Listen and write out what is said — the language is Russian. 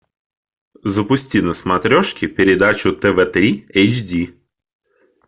запусти на смотрешке передачу тв три эйч ди